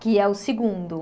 Que é o segundo.